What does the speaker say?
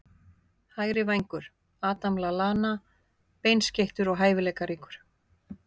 Hægri vængur- Adam Lallana Beinskeyttur og hæfileikaríkur.